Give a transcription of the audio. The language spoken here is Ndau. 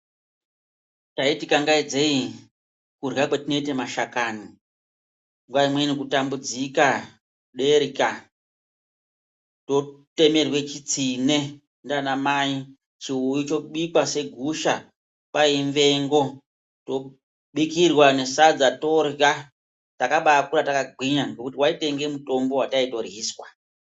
Taiti kangaidze kutamudzika kurya kwetinoite mashakani nguwa imweni kutambudzika derya totemerwe chitsine ngana mai chobikwa segusha kwaiimvengo tobikirwa nesadza torya takabakura takagwinya ngekuti waitoinge mutombo waitaito ryiswa.